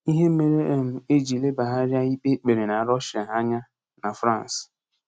Ihe Mere um e ji lebagharịa ikpe e kpere na Rọshịa Anya na Frans